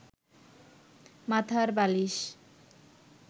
মাথার বালিশ